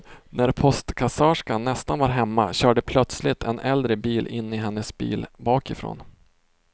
När postkassörskan nästan var hemma körde plötsligt en äldre bil in i hennes bil bakifrån.